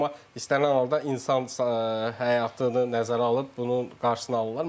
Amma istənilən halda insan həyatını nəzərə alıb bunun qarşısını alırlar.